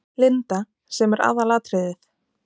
Linda: Sem er aðalatriðið?